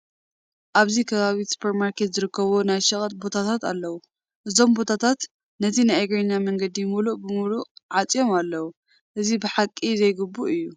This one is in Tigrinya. ኣብዚ ከባቢ ሱፐር ማርኬት ዝርከቦም ናይ ሸቐጥ ቦታታት ኣለዉ፡፡ እዞም ቦታታት ነቲ ናይ እግረኛ መንገዲ ሙሉእ ብሙሉእ ዓፄሞ ኣለዉ፡፡ እዚ ብሓቂ ዘይግቡእ እዩ፡፡